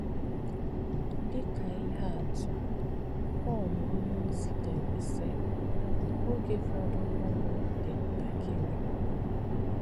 Dị̀ kā̄ íhè̄ àtụ̀, Pọl ọ̀nyé̄ọ̀zì̄ dè̄rè̄, sị̀: “Ògé̄ fọdụ̀rùnù̄ dì̄ ntà̄kì̄rị̄.”